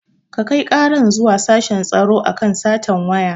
Kakai karan zuwa sashen tsaro akan satan wayan